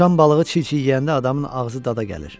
Uçan balığı çil-çil yeyəndə adamın ağzı dada gəlir.